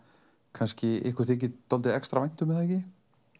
kannski ykkur þykir extra vænt um er það ekki